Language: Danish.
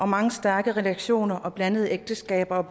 mange stærke relationer og blandede ægteskaber